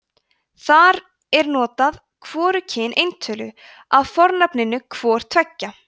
þar er notað hvorugkyn eintölu af fornafninu hvor tveggja